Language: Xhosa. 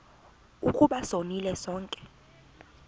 ukuba sonile sonke